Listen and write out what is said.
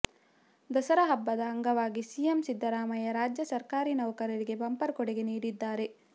ದಸರಾ ಹಬ್ಬದ ಅಂಗವಾಗಿ ಸಿಎಂ ಸಿದ್ದರಾಮಯ್ಯ ರಾಜ್ಯ ಸರಕಾರಿ ನೌಕಕರಿಗೆ ಬಂಪರ್ ಕೊಡುಗೆ ನೀಡಿದ್ದಾರೆ